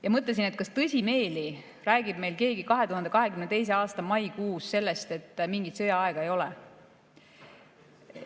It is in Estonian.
Ma mõtlesin, kas tõsimeeli räägib meil keegi 2022. aasta maikuus sellest, et mingit sõjaaega ei ole.